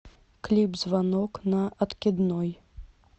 клип звонок на откидной